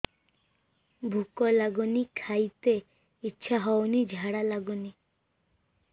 ଭୁକ ଲାଗୁନି ଖାଇତେ ଇଛା ହଉନି ଝାଡ଼ା ଲାଗୁନି